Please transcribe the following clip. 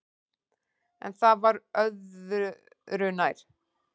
En það var öðu nær.